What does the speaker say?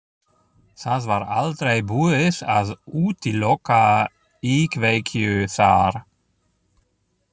Það var aldrei búið að útiloka íkveikju þar.